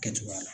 Kɛcogoya la